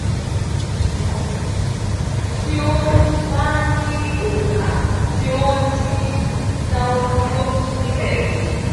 sugbon ti o ba ni onka ti o din dawoduro nibe.